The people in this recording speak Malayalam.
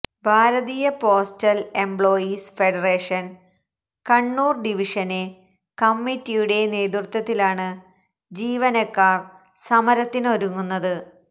ഭാരതീയ postal employees federation Kannur division കമ്മിറ്റിയുടെ നേതൃത്വത്തിലാണ് ജിവനക്കാര് സമരത്തിനൊരുങ്ങുന്നത്